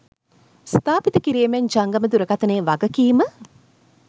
ස්ථාපිත කිරීමෙන් ජංගම දුරකථයේ වගකීම